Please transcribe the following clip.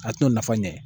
A t'o nafa ɲɛ